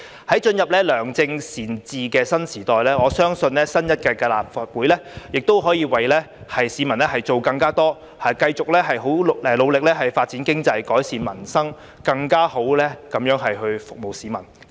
在進入良政善治的新時代，我相信新一屆立法會亦可以為市民做更多事情，繼續很努力發展經濟、改善民生，更好地服務市民。